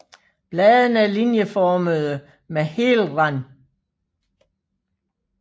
Bladene er linjeformede med hel rand